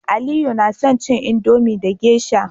aliyu na son cin Indomie da geisha